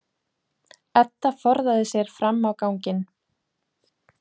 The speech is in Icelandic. Edda forðaði sér fram á ganginn.